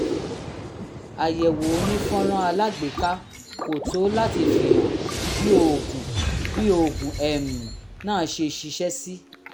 àyẹ̀wò onífọ́nrán alágbèéká kò tó láti fihàn bí oògùn bí oògùn um náà ṣe ṣiṣẹ́ sí